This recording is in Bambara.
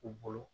U bolo